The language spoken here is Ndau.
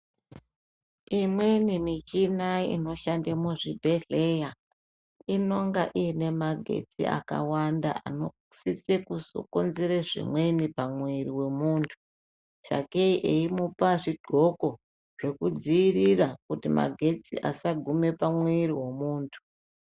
Imweni muchina inoshanda muzvibhedhleya inonga ine magetsi akawanda anosisa kukonzera zvimweni pamwiri pemuntu . Sakei eimupa zvidxoko zvekudzivirira kuti magetsi asadarika pamwiri wemuntu.